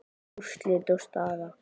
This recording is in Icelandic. Úrslit og staða